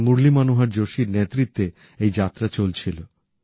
ডাঃ মুরলি মনোহর যোশীর নেতৃত্বে এই যাত্রা চলছিল